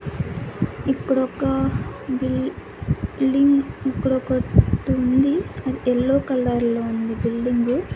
ఇక్కడొక బిల్ బిల్డింగ్ ఇక్కడ ఒకటుంది అది ఎల్లో కలర్ లో ఉంది బిల్డింగు .